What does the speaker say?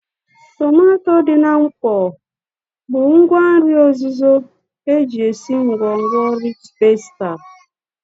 Nkpo otuboala bụ ngwa nri ozuzo eji esi ngwongwo rịch pastà